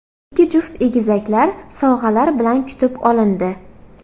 Ikki juft egizaklar sovg‘alar bilan kutib olindi.